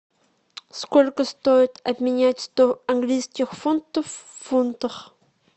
сколько стоит обменять сто английских фунтов в фунтах